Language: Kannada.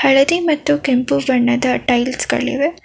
ಹಳದಿ ಮತ್ತು ಕೆಂಪು ಬಣ್ಣದ ಟೈಲ್ಸ್ ಗಳಿವೆ.